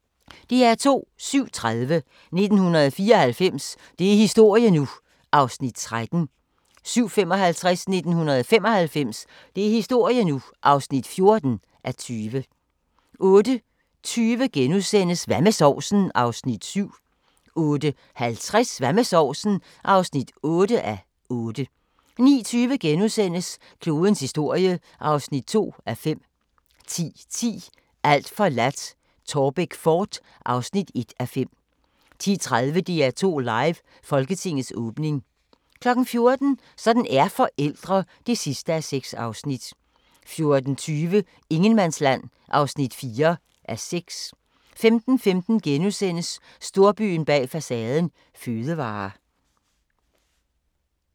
07:30: 1994 – det er historie nu! (13:20) 07:55: 1995 – det er historie nu! (14:20) 08:20: Hvad med sovsen? (7:8)* 08:50: Hvad med sovsen? (8:8) 09:20: Klodens historie (2:5)* 10:10: Alt forladt – Taarbæk fort (1:5) 10:30: DR2 Live: Folketingets åbning 14:00: Sådan er forældre (6:6) 14:20: Ingenmandsland (4:6) 15:15: Storbyen bag facaden – fødevarer *